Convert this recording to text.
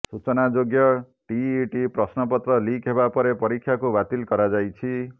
ସୂଚନାଯୋଗ୍ୟ ଟିଇଟି ପ୍ରଶ୍ନପତ୍ର ଲିକ୍ ହେବା ପରେ ପରୀକ୍ଷାକୁ ବାତିଲ କରାଯାଇଛି